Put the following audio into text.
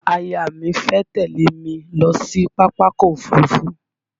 Aya mi fẹ́ tẹ̀lé mi lọ sí Pápákọ̀ Òfurufú.